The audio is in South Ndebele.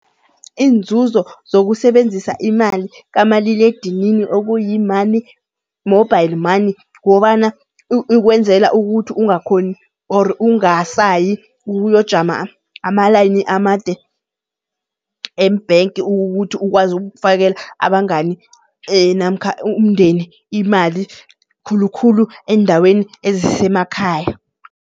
Iinzuzo zokusebenzisa imali kamaliledinini okuyi-money mobile money, kukobana ikwenzela ukuthi ungakhoni or ungasayi ukuyojama ama-line amade khulu embhenki ukuthi ukwazi ukufakela abangani namkha umndeni imali. Khulukhulu eendaweni ezisemakhaya.